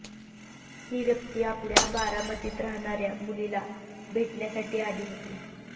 ही व्यक्ती आपल्या बारामतीत राहणाऱ्या मुलीला भेटण्यासाठी आली होती